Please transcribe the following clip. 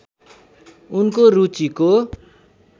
उनको रुचिको